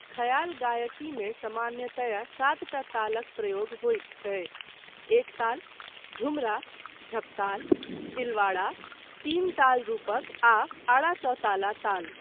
ख्याल गायकीमे सामान्यतया सातटा तालक प्रयोग होइत छैक, एक ताल, झूमरा, झपताल, तिलवाड़ा, तीन ताल रूपक आ आड़ाचौताला ताल।